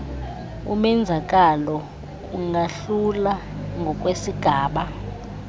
umenzakalo ungahluka ngokwesigaba